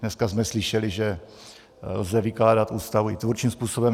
Dneska jsme slyšeli, že lze vykládat Ústavu i tvůrčím způsobem.